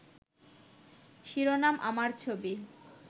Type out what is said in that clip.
শিরোনাম আমার ছবি